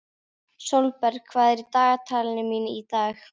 Sólberg, hvað er í dagatalinu mínu í dag?